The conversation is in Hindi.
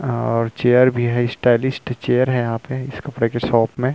और चेयर भी है स्टाइलिश चेयर है यहाँ पे इस कपडे की शॉप में --